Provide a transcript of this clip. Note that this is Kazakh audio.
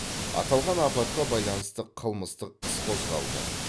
аталған апатқа байланысты қылмыстық іс қозғалды